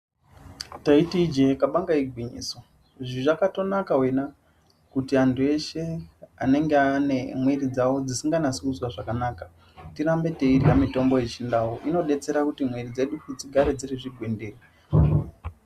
Taiti ijee kabanga igwinyiso, zvizvakatonaka wena ,kuti antu eshe anenga ane mwiri dzavo dzisinganasi kuzwa zvakanaka, tirambe teirya mitombo yechindau. Zvinodetsera pakuti mwiri dzedu dzigare dziri zvigwindiri.